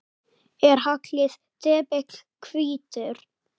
Er haglið depill hvítur?